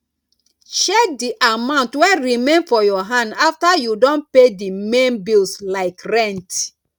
check di amount wey remain for your hand after you don pay di main bills like rent